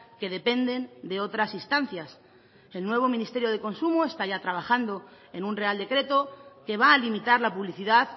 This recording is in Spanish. que dependen de otras instancias el nuevo ministerio de consumo está ya trabajando en un real decreto que va a limitar la publicidad